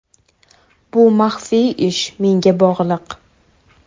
Bu maxfiy ishi menga bog‘liq.